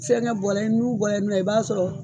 Fɛngɛ bɔra e nun bɔrɛ nɔ e b'a sɔrɔ